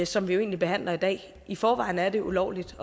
som vi jo egentlig behandler i dag i forvejen er det ulovligt